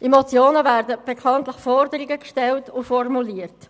In Motionen werden bekanntlich Forderungen gestellt und formuliert.